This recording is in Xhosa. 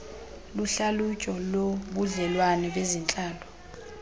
luhlalutyo lobudlelwane bezentlalo